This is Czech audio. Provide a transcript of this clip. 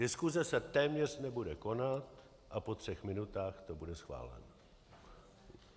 Diskuse se téměř nebude konat a po třech minutách to bude schváleno.